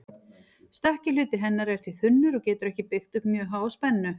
Stökki hluti hennar er því þunnur og getur ekki byggt upp mjög háa spennu.